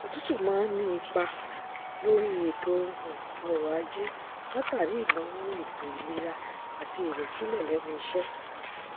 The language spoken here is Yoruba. òtútù máa ń ní ipa lórí ètò um ọrọajé látàrí ìnáwó ètò ìlera àti ìrẹsílẹ lẹnu iṣẹ